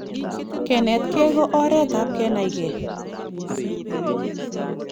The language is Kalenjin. kenetkei ko oret ap kenaikei